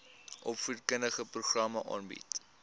opvoedkundige programme aanbied